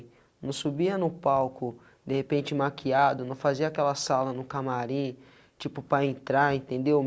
Não subia no palco, de repente maquiado, não fazia aquela sala no camarim, tipo, para entrar, entendeu?